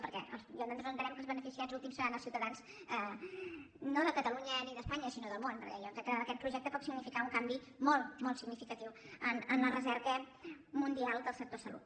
perquè nosaltres entenem que els beneficiats últims seran els ciutadans no de catalunya ni d’espanya sinó del món perquè jo crec que aquest projecte pot significar un canvi molt molt significatiu en la recerca mundial del sector salut